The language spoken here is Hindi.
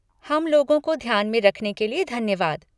हम लोगों को ध्यान में रखने के लिये धन्यवाद।